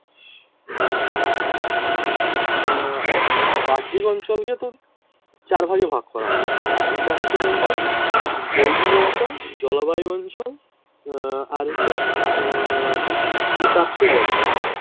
উম বাহ্যিক অঞ্চলকে তো চার ভাগে ভাগ করা হয়। ভূপ্রাকৃতিক অঞ্চল , জৈবিক অঞ্চল, জলবায়ু অঞ্চল উম আর হচ্ছে উম ভূ ভূতাত্বিক অঞ্চল।